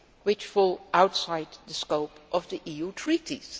to activities which fall outside the scope of the